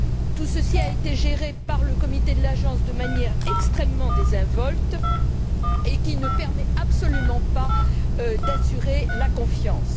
Tout ceci a été géré par le comité de l'agence de manière extrêmement désinvolte et qui ne permet absolument pas d'assurer la confiance.